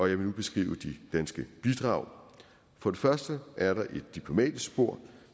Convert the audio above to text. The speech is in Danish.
jeg vil nu beskrive de danske bidrag for det første er der et diplomatisk spor